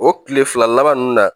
O kile fila laban nunnu na